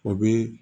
O bɛ